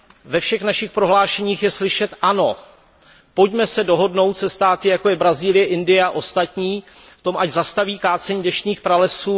Ve všech našich prohlášeních je slyšet ano, pojďme se dohodnout se státy, jako je Brazílie, Indie a ostatní na tom, ať zastaví kácení deštných pralesů.